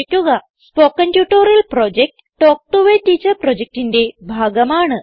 spoken tutorial project talk to a teacher പ്രൊജക്റ്റിന്റെ ഭാഗമാണ്